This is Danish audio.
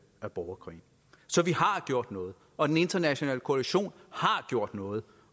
af borgerkrigen så vi har gjort noget og den internationale koalition har gjort noget